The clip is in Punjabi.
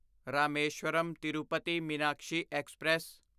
ਰਾਮੇਸ਼ਵਰਮ ਤਿਰੂਪਤੀ ਮੀਨਾਕਸ਼ੀ ਐਕਸਪ੍ਰੈਸ